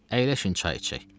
Əyləşin çay içək.